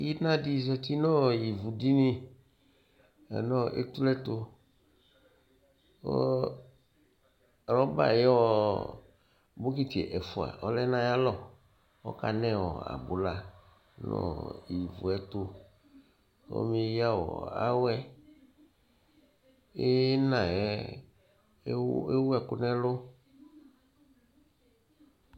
Inadi zati nu ivudini nu etule yɛtu ku bɔkiti ɛfua ɔlɛ nayalɔ kɔkanɛ abula kɔmeya awɛ Inayɛ ewu ɛku nɛlu